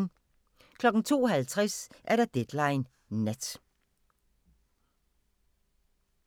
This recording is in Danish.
02:50: Deadline Nat